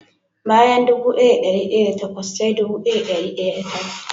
Bayan dubu daya da dari daya da takwas sai dubu daya da dari daya da tara.